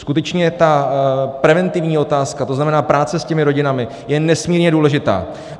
Skutečně ta preventivní otázka, to znamená, práce s těmi rodinami, je nesmírně důležitá.